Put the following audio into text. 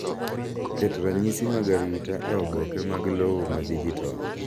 Keto ranyisi mag arita e oboke mag lowo ma dijital.